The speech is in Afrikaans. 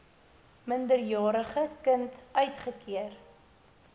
minderjarige kind uitgekeer